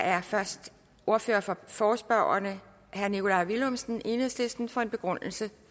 er først ordføreren for forespørgerne herre nikolaj villumsen enhedslisten for en begrundelse